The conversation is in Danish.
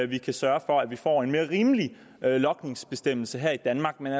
vi kan sørge for at vi får en mere rimelig logningsbestemmelse her i danmark men